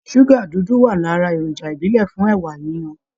Ṣúgà dúdú wà lára èròjà ìbílẹ̀ fún ẹ̀wà yiyan